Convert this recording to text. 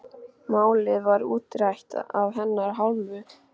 Málið var útrætt af hennar hálfu.